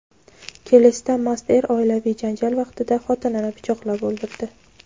Kelesda mast er oilaviy janjal vaqtida xotinini pichoqlab o‘ldirdi.